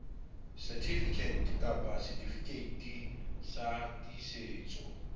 certificate kapa setifikeiti sa tiisetso